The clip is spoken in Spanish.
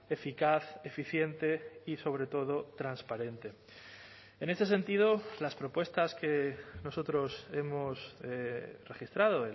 eficaz eficiente y sobre todo transparente en ese sentido las propuestas que nosotros hemos registrado